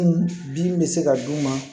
Dimi bɛ se ka d'u ma